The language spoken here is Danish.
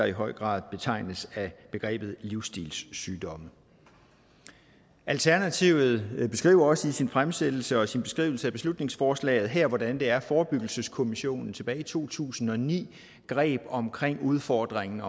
i høj grad betegnes livsstilssygdomme alternativet beskriver også i sin fremsættelse og sin beskrivelse af beslutningsforslaget her hvordan det er at forebyggelseskommissionen tilbage i to tusind og ni greb omkring udfordringen